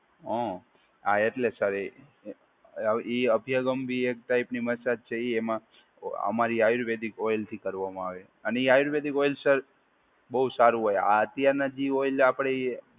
હો, હા, એટલે સર એ અભિયંગમ બી એક ટાઈપની મસાજ છે. એ એમાં અમારી આયુર્વેદિક ઓઇલથી કરવામાં આવે છે અને એ આયુર્વેદિક ઓઇલ સર બહુ સારું હોય આ અત્યારના જે ઓઇલ આપડે